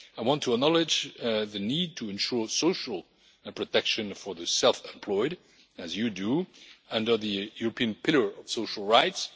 I want to acknowledge the need to ensure social protection for the self employed, as you do, under the European pillar of social rights.